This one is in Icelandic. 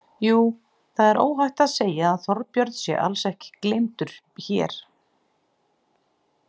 Jú, það er óhætt að segja að Þorbjörn sé alls ekki gleymdur hér.